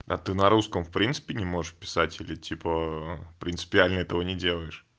а ты на русском в принципе не можешь писать или типа принципиально этого не делаешь